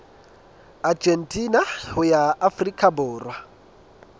argentina ho ya afrika borwa